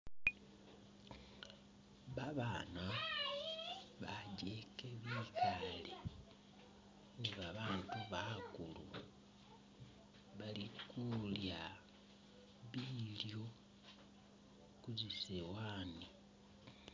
Babana bajeke bikale ni babatu bakulu bali kulya bilyo kuzi sowani.